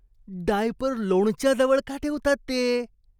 Diaper लोणच्याजवळ का ठेवतात ते?